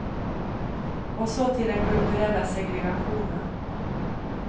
Och så till den kulturella segregationen.